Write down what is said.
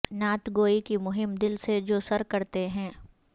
نعت گوئی کی مہم دل سے جو سر کرتے ہیں